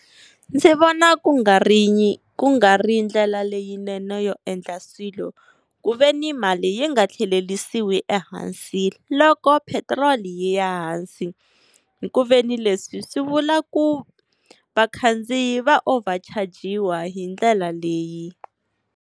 Ndzi vona ku nga ri ku nga ri ndlela leyinene yo endla swilo, ku veni mali yi nga tlhelerisiwi ehansi loko petrol yi ya hansi. Hi ku veni leswi swi vula ku vakhandziyi va over chajiwa hi ndlela leyi.